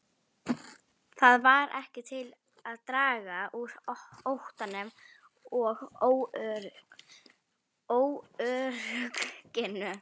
Það varð ekki til að draga úr óttanum og óörygginu.